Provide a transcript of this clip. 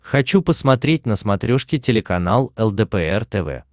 хочу посмотреть на смотрешке телеканал лдпр тв